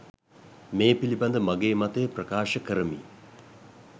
මේ පිලිබඳ මගේ මතය ප්‍රකාශ කරමි.